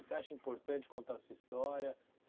Você acha importante contar a sua história?